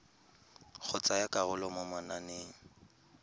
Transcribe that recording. go tsaya karolo mo mananeng